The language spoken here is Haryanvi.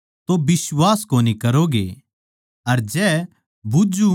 अर जै बुझ्झु तो जबाब न्ही द्योगे